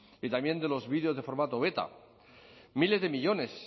y también de los videos de formato beta miles de millónes